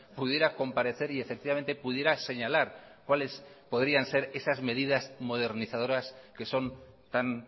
pudiera comparecer y efectivamente pudiera señalar cuáles podrían ser esas medidas modernizadoras que son tan